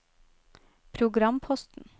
programposten